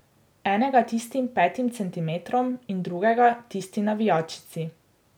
Enega tistim petim centimetrom in drugega tisti navijačici.